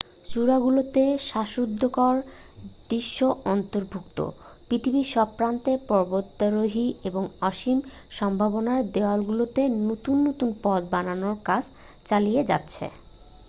চূড়াগুলোতে শ্বাসরুদ্ধকর দৃশ্য অন্তর্ভুক্ত পৃথিবীর সব প্রান্তের পর্বতারোহীরা এর অসীম সম্ভাবনার দেয়ালগুলোতে নতুন নতুন পথ বানানোর কাজ চালিয়ে যাচ্ছে